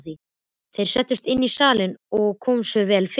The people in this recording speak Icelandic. Þeir settust inn í salinn og komu sér vel fyrir.